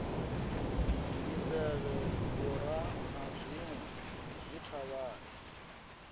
misevhe vhura na zwinwe zwithavhani